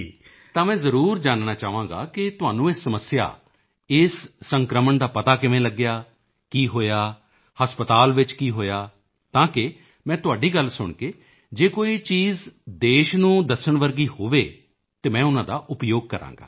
ਤਾਂ ਮੈਂ ਜ਼ਰੂਰ ਜਾਨਣਾ ਚਾਹਾਂਗਾ ਕਿ ਤੁਹਾਨੂੰ ਇਹ ਸਮੱਸਿਆ ਇਸ ਸੰਕ੍ਰਮਣ ਦਾ ਪਤਾ ਕਿਵੇਂ ਲੱਗਿਆ ਕੀ ਹੋਇਆ ਹਸਪਤਾਲ ਵਿੱਚ ਕੀ ਹੋਇਆ ਤਾਂ ਕਿ ਮੈਂ ਤੁਹਾਡੀ ਗੱਲ ਸੁਣ ਕੇ ਜੇ ਕੋਈ ਚੀਜ਼ਾਂ ਦੇਸ਼ ਨੂੰ ਦੱਸਣ ਵਰਗੀਆਂ ਹੋਣਗੀਆਂ ਤਾਂ ਮੈਂ ਉਨ੍ਹਾਂ ਦਾ ਉਪਯੋਗ ਕਰਾਂਗਾ